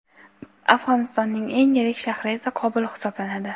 Afg‘onistonning eng yirik shahri esa Qobul hisoblanadi.